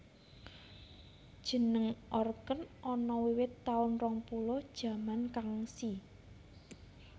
Jeneng Orqen ana wiwit taun rong puluh jaman Kangxi